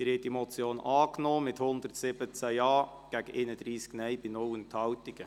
Sie haben diese Motion angenommen mit 117 Ja- gegen 31 Nein-Stimmen bei 0 Enthaltungen.